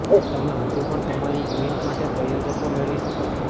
તમે હજુ પણ તમારી ઇવેન્ટ માટે પ્રાયોજકો મેળવી શકો છો